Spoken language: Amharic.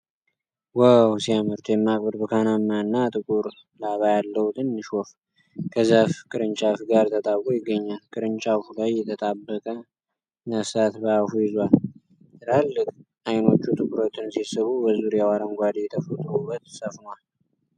ዋው ሲያምር! ደማቅ ብርቱካናማ እና ጥቁር ላባ ያለው ትንሽ ወፍ ከዛፍ ቅርንጫፍ ጋር ተጣብቆ ይገኛል። ቅርንጫፉ ላይ የተጣበቀ ነፍሳት በአፉ ይዟል። ትላልቅ ዓይኖቹ ትኩረትን ሲስቡ፣ በዙሪያው አረንጓዴ ተፈጥሮ ውበት ሰፍኗል።